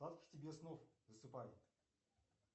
сладких тебе снов засыпай